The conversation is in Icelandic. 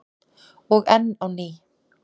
Og enn á ný.